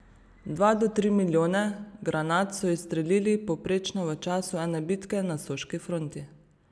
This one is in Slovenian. Dva do tri milijone granat so izstrelili povprečno v času ene bitke na soški fronti.